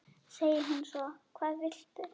segir hún svo: Hvað viltu?